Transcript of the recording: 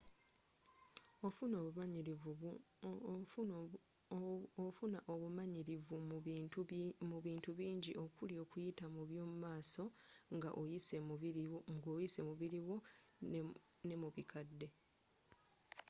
ofuna obumanyirivu mu bintu bingi okuli okuyita mu by’omumaso nga oyise mu biri wo, n’emubikadde